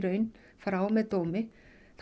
frá með dómi þá